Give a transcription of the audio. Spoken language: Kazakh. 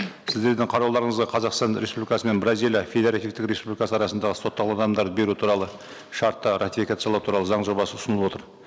сіздердің қарауларыңызға қазақстан республикасы мен бразилия федеративтік республикасы арасындағы сотталған адамдарды беру туралы шартты ратификациялау туралы заң жобасы ұсынылып отыр